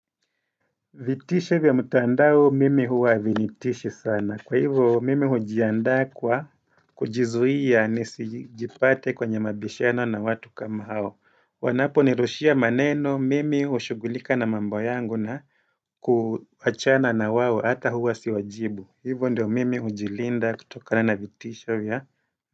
Vitisho vya mtandao mimi huwa hazinitishi sana kwa hivyo mimi hujiandaa kwa kujizuia ni sijipate kwenye mabishano na watu kama hao wanapo nirushia maneno mimi ushugulika na mambo yangu na kuachana na wao hata huwa siwajibu hivyo ndio mimi hujilinda kutoka na na vitisha vya.